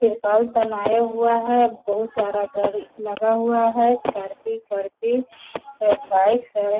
त्रिरपाल तनाया हुआ है बहुत सारा गाड़ी लगा हुआ है स्कॉर्पि करपी है बाइक --